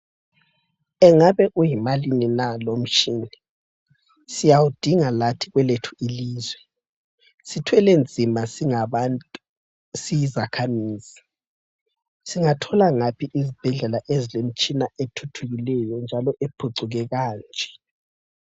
Engabe uyimalini na lo umtshina. Siyawudinga lathi kwelethu ilizwe. Sithwele nzima singabantu siyizakhamizi. Singathola ngaphi izibhedlela ezile mtshina ethuthukileyo njalo ephucuke kanje.